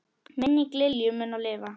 Minning Lilju mun lifa.